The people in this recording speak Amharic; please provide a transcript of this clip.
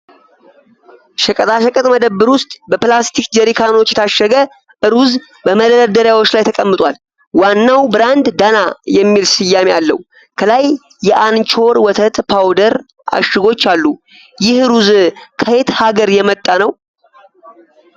ሸቀጣሸቀጥ መደብር ውስጥ በፕላስቲክ ጀሪካኖች የታሸገ ሩዝ በመደርደሪያዎች ላይ ተቀምጧል። ዋናው ብራንድ "ዳና" የሚል ስያሜ አለው። ከላይ የአንቾር ወተት ፓውደር እሽጎች አሉ። ይህ ሩዝ ከየት ሀገር የመጣ ነው?